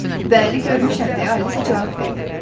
Bəli, görmüşəm deyə Alisa cavab verdi.